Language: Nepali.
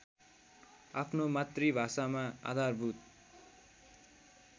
आफ्नो मातृभाषामा आधारभूत